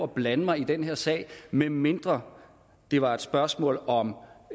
blande mig i den her sag medmindre det var et spørgsmål om